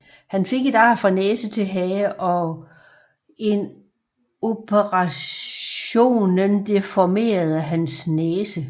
Han fik et ar fra næse til hage og en operationen deformerede hans næse